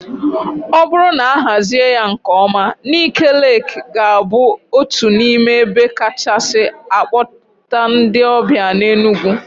O bụrụ na a hazie ya nkeọma, Ńịké Leekị ga-abụ otu n'ime ebe kachasị a kpọta ndị ọbịa n'Enugwu.